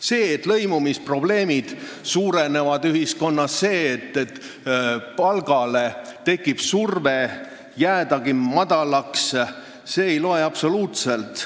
See, et ühiskonnas suurenevad lõimumisprobleemid, või see, et palgale tekib surve madalaks jäädagi, ei loe absoluutselt.